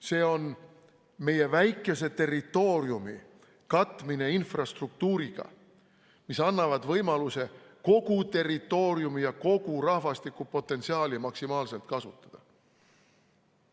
See on meie väikese territooriumi katmine infrastruktuuriga, mis annab võimaluse kogu territooriumi ja kogu rahvastikupotentsiaali maksimaalselt kasutada.